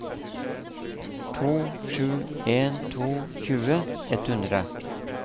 to sju en to tjue ett hundre